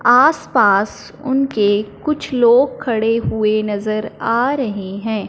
आस पास उनके कुछ लोग खड़े हुए नज़र आ रहे हैं।